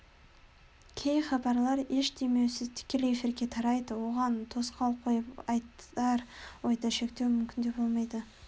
кей хабарлар еш өңдеусіз тікелей эфирге тарайды оған тосқауыл қойып айтар ойды шектеу мүмкін де болмайды